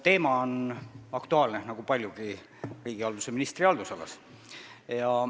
Teema on aktuaalne, nagu paljud teemad riigihalduse ministri haldusalas.